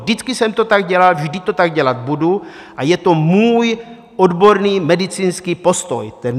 Vždycky jsem to tak dělal, vždy to tak dělat budu a je to můj odborný medicínský postoj.